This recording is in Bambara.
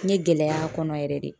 N ye gɛlɛya a kɔnɔ yɛrɛ de.